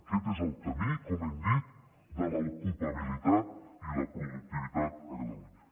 aquest és el camí com hem dit de l’ocupabilitat i la productivitat a catalunya